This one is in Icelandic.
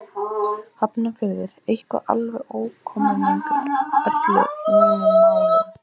Hafnarfirði, eitthvað alveg óviðkomandi öllum mínum málum.